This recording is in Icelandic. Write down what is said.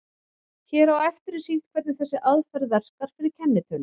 Hér á eftir er sýnt hvernig þessi aðferð verkar fyrir kennitölur.